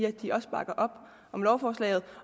at de også bakker op om lovforslaget